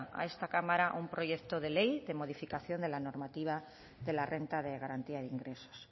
a esta cámara un proyecto de ley de modificación de la normativa de la renta de garantía de ingresos